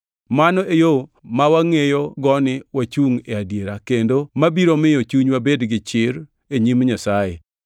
Mano e yo ma wangʼeyogo ni wachungʼ e adiera, kendo mabiro miyo chunywa bed gi chir e nyim Nyasaye